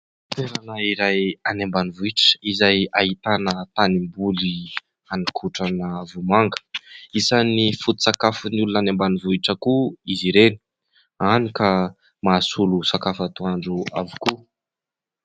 Toerana iray any ambanivohitra izay ahitana tanimboly haninkotrana vomanga. Isany foto-tsakafon'ny olona any ambanivohitra koa izy ireny any ka mahasolo sakafo antoandro avokoa.